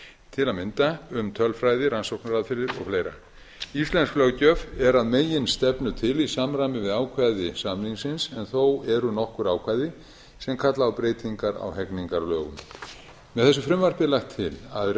til að mynda um tölfræði rannsóknaraðferðir og fleira íslensk löggjöf er að meginstefnu til í samræmi við ákvæði samningsins en þó eru nokkur ákvæði sem kalla á breytingar á hegningarlögum með þessu frumvarpi er lagt til að